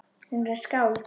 Hún er skáld.